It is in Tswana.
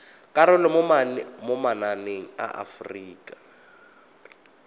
karolo mo mananeng a aforika